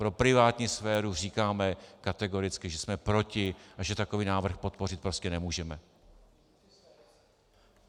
Pro privátní sféru říkáme kategoricky, že jsme proti a že takový návrh podpořit prostě nemůžeme.